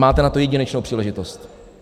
Máte na to jedinečnou příležitost.